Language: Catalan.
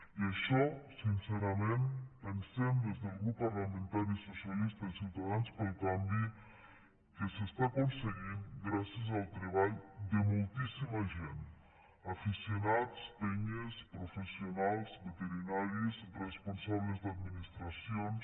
i això sincerament pensem des del grup parlamentari socialistes ciutadans pel canvi que s’està aconseguint gràcies al treball de moltíssima gent aficionats penyes professionals veterinaris responsables d’administracions